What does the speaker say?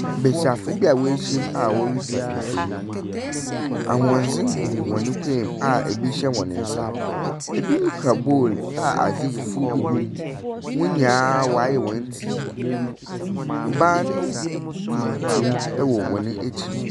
Besiafo bi a wɔahyiam a wɔretwa nfonni. Ahwendze gu hɔne kɔn mu a ebi hyɛ hɔn nsa. Ebinom kura bowl a adze fufuo bi wɔ mu. Hɔn nyinaa wɔayɛ hɔn nti. Ban tuntum ɛwɔ hɔn akyi.